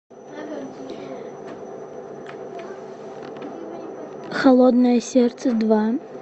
холодное сердце два